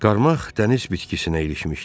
Qarmaq dəniz bitkisinə ilişmişdi.